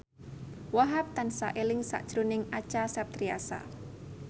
Wahhab tansah eling sakjroning Acha Septriasa